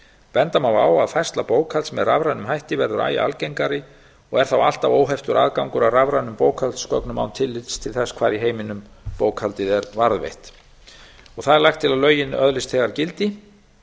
benda má á að færsla bókhalds með rafrænum hætti verður æ algengari og er þá alltaf óheftur aðgangur að rafrænum bókhaldsgögnum án tillits til þess hvar í heiminum bókhaldið er varðveitt það er lagt til að lögin öðlist þegar gildi